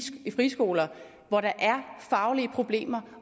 friskoler hvor der er faglige problemer